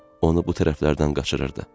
Onu bu tərəflərdən qaçırırdı.